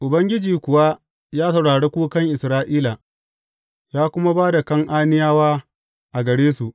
Ubangiji kuwa ya saurari kukan Isra’ila, ya kuma ba da Kan’aniyawa a gare su.